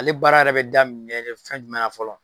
Ale baara yɛrɛ bɛ daminɛ de fɛn jumɛn na fɔlɔ.